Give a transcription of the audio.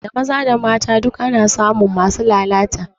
Da maza da mata duk ana samun masu lalata